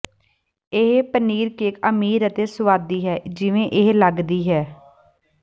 ਇਹ ਪਨੀਰਕੇਕ ਅਮੀਰ ਅਤੇ ਸੁਆਦੀ ਹੈ ਜਿਵੇਂ ਇਹ ਲਗਦੀ ਹੈ